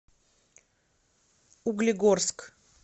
углегорск